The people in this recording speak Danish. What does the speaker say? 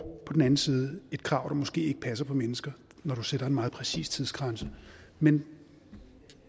på den anden side et krav der måske ikke passer på mennesker når man sætter en meget præcis tidsgrænse men vi